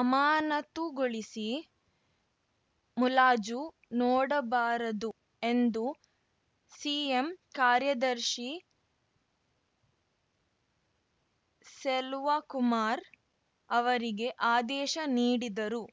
ಅಮಾನತುಗೊಳಿಸಿ ಮುಲಾಜು ನೋಡಬಾರದು ಎಂದು ಸಿಎಂ ಕಾರ್ಯದರ್ಶಿ ಸೆಲ್ವಕುಮಾರ್‌ ಅವರಿಗೆ ಆದೇಶ ನೀಡಿದರು